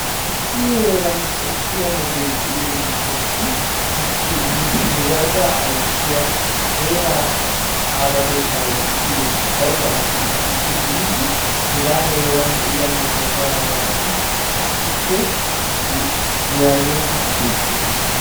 Issi heeran xomppiya metoy de'iyo gishaasi he worada ayssiya heera aawatettay de'iyo aawati biidi hegaa heeran de'iya metuwa pagalanaassi issipe woyaaya'etiidi de'oososna.